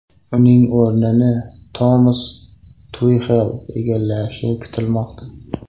Uning o‘rnini Tomas Tuxel egallashi kutilmoqda.